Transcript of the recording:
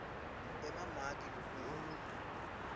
emamaki lulwimi